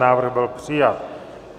Návrh byl přijat.